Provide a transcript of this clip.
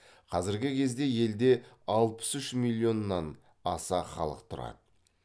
қазіргі кезде елде алпыс үш миллионнан аса халық тұрады